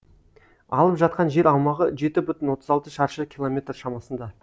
алып жатқан жер аумағы жеті бүтін отыз алты шаршы километр шамасында